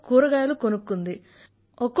దారిలో కూరలు కొనుక్కుంది